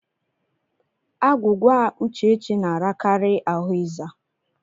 Agwụgwa Uchechi na-arakari ahụ ịza.